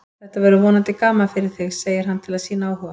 Þetta verður vonandi gaman fyrir þig, segir hann til að sýna áhuga.